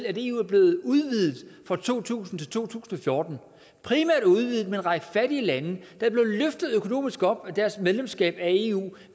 at eu er blevet udvidet fra to tusind til to tusind og fjorten primært udvidet med en række fattige lande løftet økonomisk op af deres medlemskab af eu